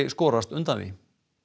skorast undan því